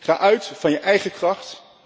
Ga uit van je eigen kracht.